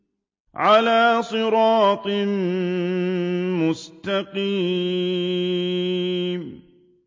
عَلَىٰ صِرَاطٍ مُّسْتَقِيمٍ